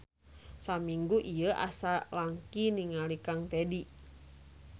Samingu ieu asa langki ningal kang Tedy.